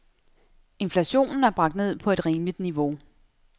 Inflationen er bragt ned på et rimeligt niveau.